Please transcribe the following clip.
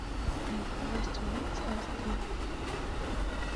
найди власть убийц аш ди